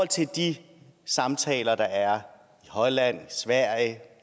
til de samtaler der er i holland sverige